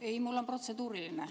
Ei, mul on protseduuriline küsimus.